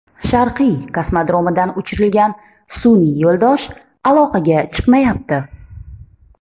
Sharqiy kosmodromidan uchirilgan sun’iy yo‘ldosh aloqaga chiqmayapti.